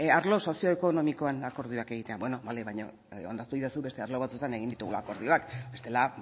arlo sozioekonomikoan akordioak egitea beno bale baina onartu iezadazu beste arlo batzuetan egin ditugula akordioak bestela